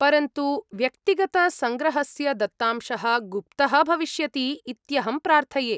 परन्तु व्यक्तिगतसङ्ग्रहस्य दत्तांशः गुप्तः भविष्यति इत्यहं प्रार्थये।